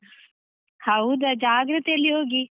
ಹೌದಾ, ಜಾಗ್ರತೆಯಲ್ಲಿ ಹೋಗಿ.